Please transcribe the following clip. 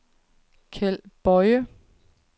Keld Boye